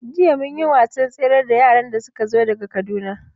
Jiya mun yi wasan tsere da yaran da suka zo daga Kaduna.